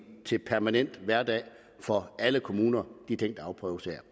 til permanent hverdag for alle kommuner